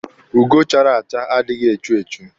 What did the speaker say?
Ugo chara acha adịghị echu echu.